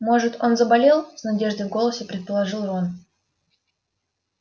может он заболел с надеждой в голосе предположил рон